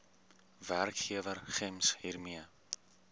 werkgewer gems hiermee